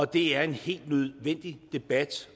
det er en helt nødvendig debat